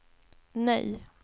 nej